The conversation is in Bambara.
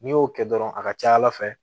N'i y'o kɛ dɔrɔn a ka ca ala fɛ